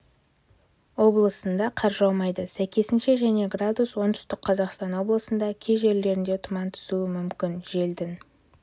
облысында қар жаумайды сәйкесінше және градус оңтүстік қазақстан облысында кей жерлерінде тұман түсуі мүмкін желдің